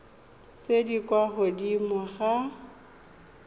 tse di kwa godimo ga